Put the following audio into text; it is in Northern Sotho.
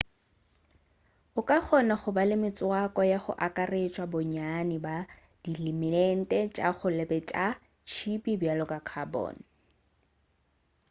o ka kgona go ba le metswako ya go akaretša bonnyane bja dielemente tša go se be tša tšhipi bjalo ka carbon